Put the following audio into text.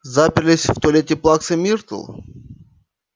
заперлись в туалете плаксы миртл